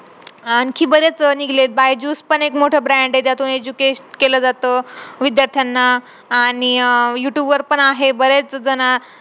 आणखी बरेच निघलेत Biju's पण एक मोठा brand आहे ज्यातून educate केला जाता विद्यार्थ्यांना आणि अह youtube वर पण आहे बरेच जण